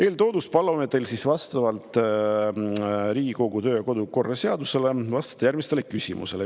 " Eeltoodust tulenevalt palume teil vastavalt Riigikogu kodu‑ ja töökorra seadusele vastata järgmistele küsimusele.